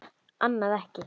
Annað ekki.